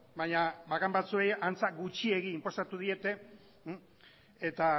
baina bakan batzuei antza gutxiegi inposatu diete eta